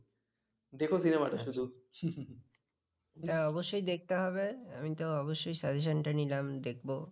হ্যাঁ অবশ্যই দেখতে হবে। আমি তো অবশ্যই suggestion টা নিলাম। দেখব। হম